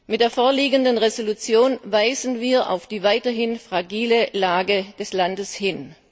Mit der vorliegenden Entschließung weisen wir auf die weiterhin fragile Lage des Landes hin.